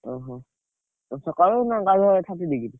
ଓହୋ! ସକାଳେ ନା ଗାଧୁଆ ବେଳେ thirty degree।